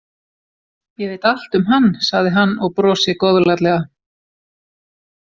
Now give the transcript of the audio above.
Ég veit allt um hann, sagði hann og brosi góðlátlega.